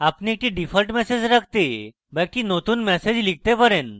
আপনি default message রাখতে পারেন বা একটি নতুন ম্যাসেজ লিখতে পারেন